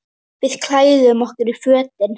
Við klæðum okkur í fötin.